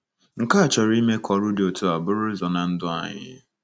Nke a chọrọ ime ka ọrụ dị otú a buru ụzọ ná ndụ anyị.